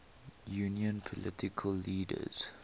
union political leaders